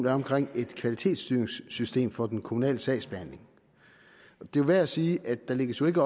er omkring et kvalitetsstyringssystem for den kommunale sagsbehandling det er værd at sige at der jo ikke